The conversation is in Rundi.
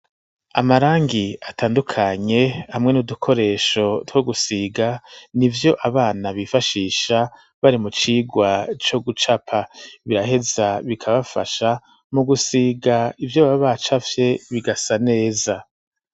Amarangi atandukanye hamwe n'udukoresho two gusiga nivyo abana bifashisha bari mu cirwa co gucapa biraheza bikabafasha mu gusiga ivyo baba bacafye bigaheza bigasa neza